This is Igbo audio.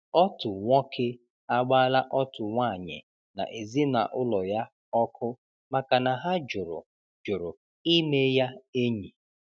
Ọtụ nwọke agbaala ọtụ nwanyị na ezinaụlọ ya ọkụ maka na ha jụrụ jụrụ ịme ya enyi.